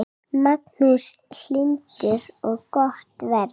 Magnús Hlynur: Og gott verð?